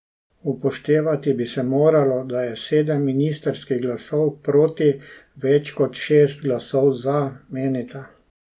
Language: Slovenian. Upoštevati bi se moralo, da je sedem ministrskih glasov proti več kot šest glasov za, menita.